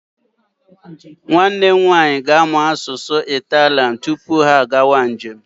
Nwanne m nwaanyị ga-amụ asụsụ Italian tupu ha agawa njem.